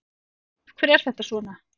Af hverju er þetta svona?